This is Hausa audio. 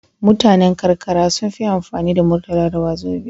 Mutanan karkara sunfi amfani da murtala da wazobiya